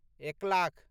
एक लाख